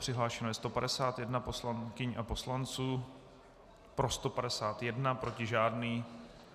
Přihlášeno je 151 poslankyň a poslanců, pro 151, proti žádný.